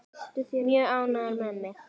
Mjög ánægður með mig.